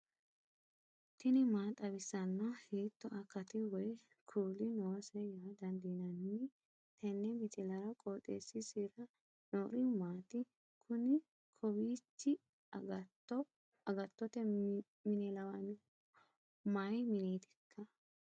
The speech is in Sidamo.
tini maa xawissanno ? hiitto akati woy kuuli noose yaa dandiinanni tenne misilera? qooxeessisera noori maati? kuni kowiichi agattote mine lawannoehu mayi mineetikka